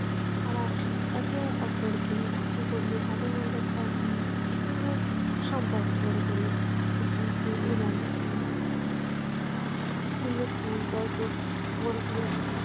তারা একে অপরকে রাখি পরিয়ে তাদের মধ্যে একটা উম সুন্দর সম্পর্ক গড়ে তোলে এবং উম গড়ে তোলে